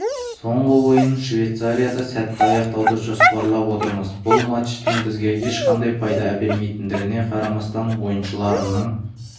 соңғы ойынын швейцарияда сәтті аяқтауды жоспарлап отырмыз бұл матчтың бізге ешқандай пайда әпермейтіндігіне қарамастан ойыншыларымның